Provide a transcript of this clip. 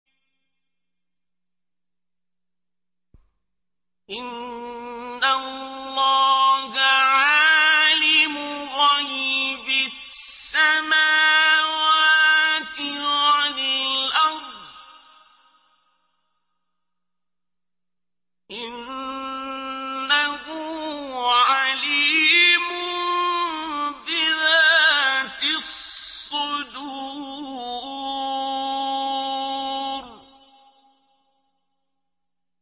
إِنَّ اللَّهَ عَالِمُ غَيْبِ السَّمَاوَاتِ وَالْأَرْضِ ۚ إِنَّهُ عَلِيمٌ بِذَاتِ الصُّدُورِ